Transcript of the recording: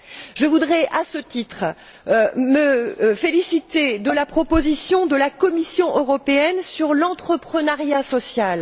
Je voudrais, à ce titre, me féliciter de la proposition de la Commission européenne sur l'entreprenariat social.